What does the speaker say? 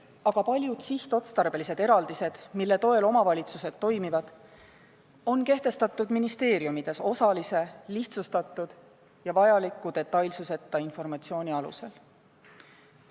Aga paljud sihtotstarbelised eraldised, mille toel omavalitsused toimivad, on kehtestatud ministeeriumides osalise, lihtsustatud ja vajaliku detailsuseta informatsiooni alusel.